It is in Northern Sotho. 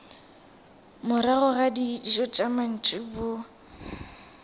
morago ga dijo tša mantšiboa